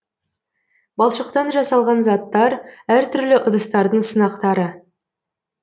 балшықтан жасалған заттар әр түрлі ыдыстардың сынақтары